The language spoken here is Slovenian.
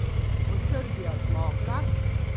Bo Srbija zmogla?